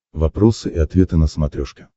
вопросы и ответы на смотрешке